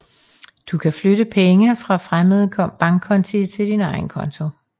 Du kan flytte penge fra fremmende bankkonti til din egen konto